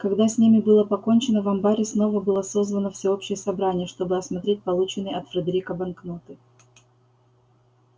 когда с ними было покончено в амбаре снова было созвано всеобщее собрание чтобы осмотреть полученные от фредерика банкноты